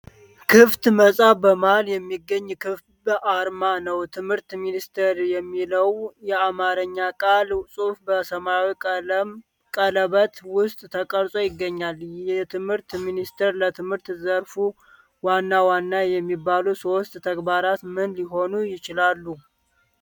ክፍት መጽሐፍ በመሃል የሚገኝ ክብ ዓርማ ነው። "ትምህርት ሚኒስቴር" የሚለው የአማርኛ ቃል ጽሑፍ በሰማያዊ ቀለበት ውስጥ ተቀርጾ ይገኛል። የትምህርት ሚኒስቴር ለትምህርት ዘርፉ ዋና ዋና የሚባሉ ሦስት ተግባራት ምን ሊሆኑ ይችላሉ?